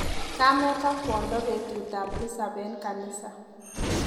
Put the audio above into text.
Kamet ak kwondo betutap tisap eng kanisa.